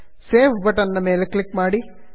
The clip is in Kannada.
ಸೇವ್ ಸೇವ್ ಬಟನ್ ನ ಮೇಲೆ ಕ್ಲಿಕ್ ಮಾಡಿ